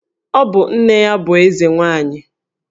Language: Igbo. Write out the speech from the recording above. Ọ bụ nne ya bụ Eze nwaanyị?